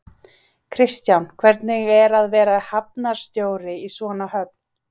Kristján, hvernig er að vera hafnarstjóri í svona höfn?